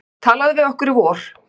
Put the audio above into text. Talaðu við okkur í vor.